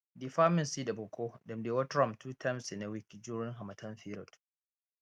d farming seed of oco dem dey water am two times in a week during harmattan period